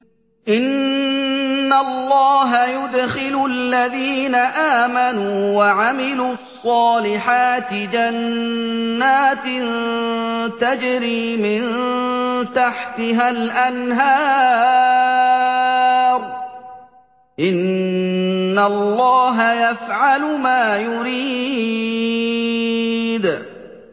إِنَّ اللَّهَ يُدْخِلُ الَّذِينَ آمَنُوا وَعَمِلُوا الصَّالِحَاتِ جَنَّاتٍ تَجْرِي مِن تَحْتِهَا الْأَنْهَارُ ۚ إِنَّ اللَّهَ يَفْعَلُ مَا يُرِيدُ